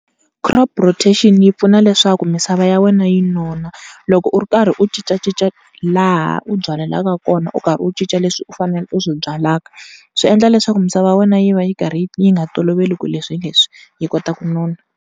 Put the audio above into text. Crop rotation yi pfuna leswaku misava ya wena yi nona, loko u ri karhi u cincacinca laha u byalelaka kona u karhi u cinca leswi u faneleke u swi byalaka swi endla leswaku misava ya wena yi va yi karhi yi nga toloveli ku leswi hi leswi yi kota ku nona.